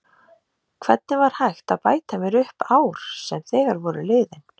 Hvernig var hægt að bæta mér upp ár sem þegar voru liðin?